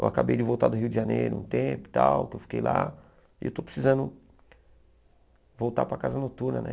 Eu acabei de voltar do Rio de Janeiro um tempo e tal, que eu fiquei lá, e eu estou precisando voltar para a Casa Noturna, né?